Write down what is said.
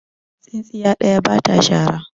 tsintsiya ɗaya ba ta shara